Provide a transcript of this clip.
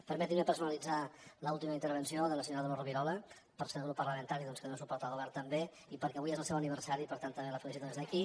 permetin me personalitzar en l’última intervenció de la senyora dolors rovirola perquè és del grup parlamentari doncs que dóna suport al govern també i perquè avui és el seu aniversari i per tant també la felicito des d’aquí